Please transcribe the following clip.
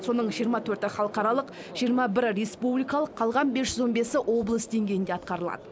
соның жиырма төрті халықаралық жиырма бірі республикалық қалған бес жүз он бесі облыс деңгейінде атқарылады